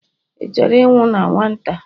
ị chọrọ ịnwụ na nwata?